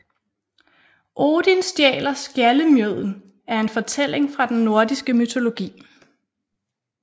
Odin stjæler skjaldemjøden er en fortælling fra den nordiske mytologi